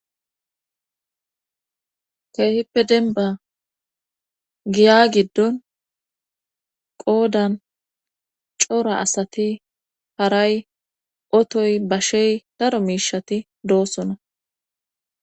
Keehippe denba giya giddon qoodan coora asati haray otoy bashey daro miishati doossona